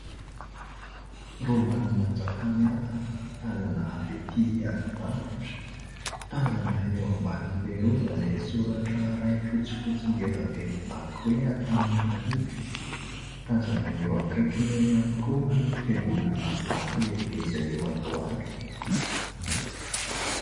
Rovan'i Manjakamiadana tazana avy etỳ alavitra. Tazana eo ambanin'ilay rova ilay soratra iray fotsifotsy ngeza be mivaky hoe : Antananarivo. Tazana eo akaikiny eo ihany koa ny fiangonana vato lehibe izay eo Andohalo.